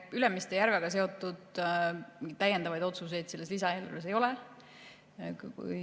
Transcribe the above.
Ülemiste järvega seotud täiendavaid otsuseid selles lisaeelarves ei ole.